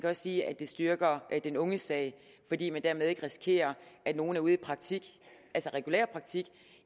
også sige at det styrker den unges sag fordi man dermed ikke risikerer at nogle er ude i praktik altså regulær praktik